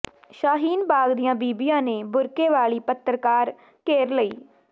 ਸ਼ਾਹੀਨ ਬਾਗ ਦੀਆਂ ਬੀਬੀਆਂ ਨੇ ਬੁਰਕੇ ਵਾਲੀ ਪੱਤਰਕਾਰ ਘੇਰ ਲਈ